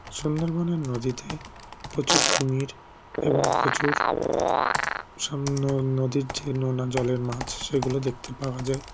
সুন্দরবনের নদীতে প্রচুর কুমির এবং প্রচুর সননদীর যে নোনাজলের মাছ সেগুলো দেখতে পাওয়া যায়